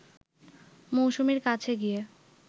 মৌসুমীর কাছে গিয়ে